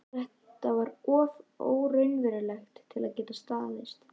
Þetta var of óraunverulegt til að geta staðist.